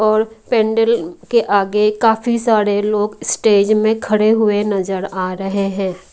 और पेंडरी के आगे काफी सारे लोग स्टेज में खड़े हुए नजर आ रहे है।